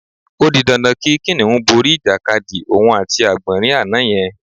O di dandan kí kìnìún borí ìjàkadì òun àti àgbò̩nrín àná ye̩n